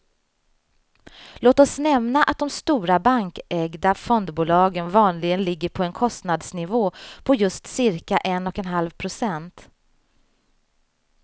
Låt oss nämna att de stora bankägda fondbolagen vanligen ligger på en kostnadsnivå på just cirka en och en halv procent.